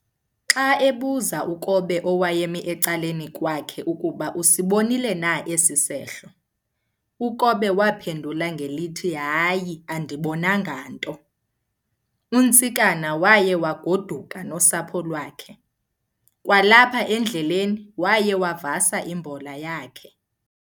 Xa ebuza uKobe owayemi ecaleni kwakhe ukuba usibonile na esi sehlo, uKobe waphendula ngelithi hayi andibonanga nto. UNtsikana waya waguduka nosapho lwakhe, kwalapha endleleni waya wavasa imbola yakhe.